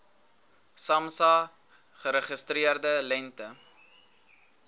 samsa geregistreerde lengte